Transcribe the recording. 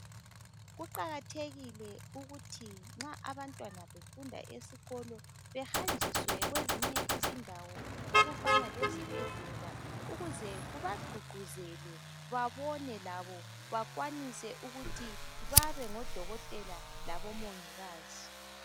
Kuqakathekile ukuthi nxa abantwana befunda esikolo behanjiswe kwezinye izindawo okufana lezibhedlela ukuze kuba qhuqhuzele babone labo bakwanise ukuthi babe ngodokotela labo mongikazi